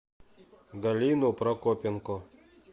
галину прокопенко